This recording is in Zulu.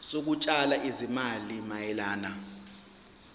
zokutshala izimali mayelana